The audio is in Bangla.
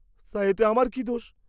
তা এতে আমার কি দোষ?